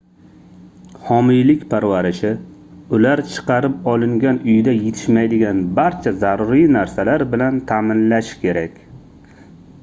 homiylik parvarishi ular chiqarib olingan uyda yetishmaydigan barcha zaruriy narsalar bilan taʼminlashi kerak